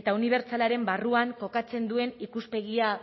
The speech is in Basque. eta unibertsalaren barruan kokatzen duen ikuspegia